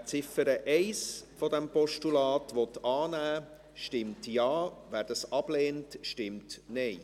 Wer die Ziffer 1 dieses Postulats annehmen will, stimmt Ja, wer dies ablehnt, stimmt Nein.